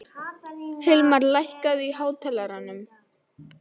Hilmar, lækkaðu í hátalaranum.